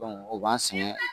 o b'an sɛgɛn